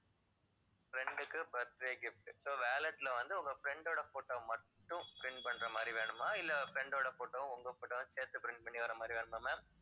friend உக்கு birthday gift, so wallet ல வந்து உங்க friend ஓட photo மட்டும் print பண்ற மாதிரி வேணுமா இல்ல friend ஓட photo உம் உங்க photo உம் சேர்த்து print பண்ணி வர்ற மாதிரி வேணுமா ma'am?